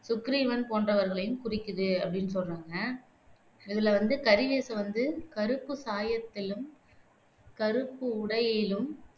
சுக்கிரீவன் போன்றவர்களையும் குறிக்கிது அப்படின்னு சொல்றாங்க இதுல வந்து கறி வேஷம் வந்து கறுப்பு சாயத்திலும், கறுப்பு உடையிலும்